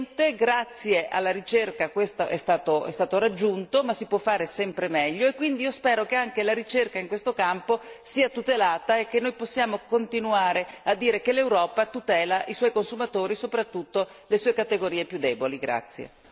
una qualità equivalente grazie alla ricerca questo è stato raggiunto ma si può fare sempre meglio e quindi io spero che anche la ricerca in questo campo sia tutelata e che noi possiamo continuare a dire che l'Europa tutela i suoi consumatori, soprattutto le sue categorie più deboli.